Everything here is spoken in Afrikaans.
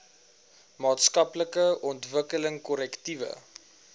maatskaplike ontwikkeling korrektiewe